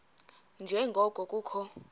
nje ngoko kukho